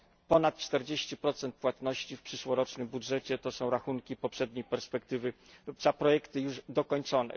Ponad 40 płatności w przyszłorocznym budżecie to są rachunki poprzedniej perspektywy za projekty już dokończone.